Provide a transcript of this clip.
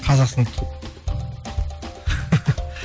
қазақстан